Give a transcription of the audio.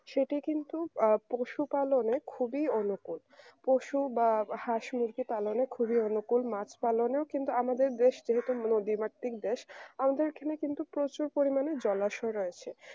সেটা কিন্তু আহ পশুপালনের খুবই অনুকূল পশু বা হাঁস মুরগি পালনের খুবই অনুকূল মাছ পালনেও কিন্তু আমাদের দেশে যেহেতু নদীমাতৃক দেশ আমাদের এখানে কিন্তু প্রচুর পরিমানে জলাশয় রয়েছে